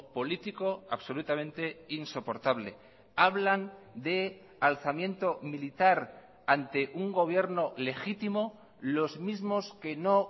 político absolutamente insoportable hablan de alzamiento militar ante un gobierno legítimo los mismos que no